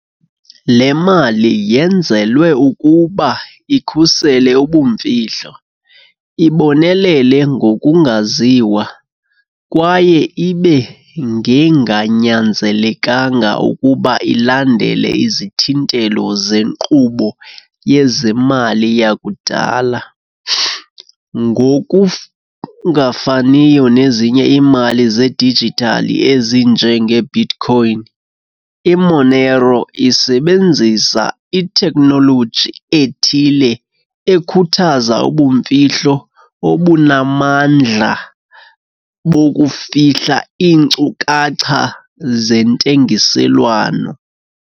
Le mali yenzelwe ukuba ikhusele ubumfihlo, ibonelele ngokungaziwa, kwaye ibe ngenganyanzelekanga ukuba ilandele izithintelo zenkqubo yezemali yakudala. Ngokungafaniyo nezinye iimali zedijithali ezinjengeBitcoin, i-Monero isebenzisa itekhnoloji ethile ekhuthaza ubumfihlo obunamandla bokufihla iinkcukacha zentengiselwano.